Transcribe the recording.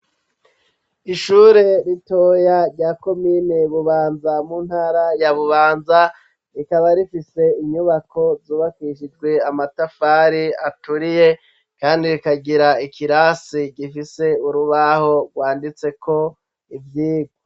Ishure ritoya rya komine bubanza mu ntara ya bubanza rikaba rifise inyubako zubakishijwe amatafari aturiye kandi rikagira ikirasi gifise urubaho rwanditseko ivyigwa.